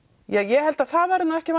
ég held að það verði ekki